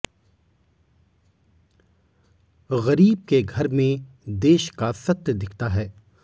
गरीब के घर में देश का सत्य दिखता है